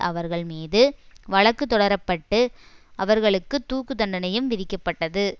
அவர்கள் மீது வழக்கு தொடரப்பட்டு அவர்களுக்கு தூக்கு தண்டனையும் விதிக்கப்பட்டது